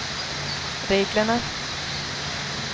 reglerna